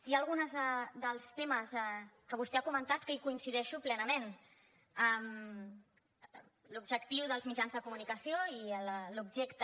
hi ha alguns dels temes que vostè ha comentat que hi coincideixo plenament l’objectiu dels mitjans de comunicació i l’objecte